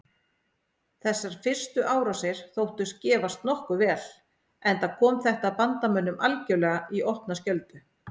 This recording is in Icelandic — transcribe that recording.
Þessar fyrstu árásir þóttust gefast nokkuð vel enda kom þetta bandamönnum algerlega í opna skjöldu.